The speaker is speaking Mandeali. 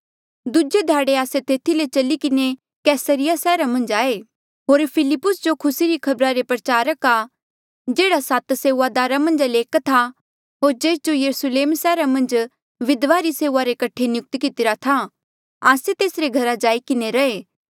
दूजे ध्याड़े आस्से तेथी ले चली किन्हें कैसरिया सैहरा मन्झ आये होर फिलिप्पुस जो खुसी री खबरा रे प्रचारका जेहड़ा सात सेऊआदारा मन्झा ले एक था होर जेस जो यरुस्लेम सैहरा मन्झ विधवाओ री सेऊआ करणे रे कठे नियुक्त कितिरा था आस्से तेसरे घरा जाई किन्हें रैहे